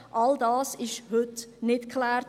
– All dies ist heute nicht geklärt.